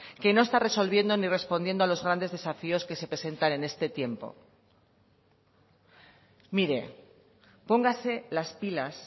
que no está resolviendo ni respondiendo a los grandes desafíos que se presentan en este tiempo mire póngase las pilas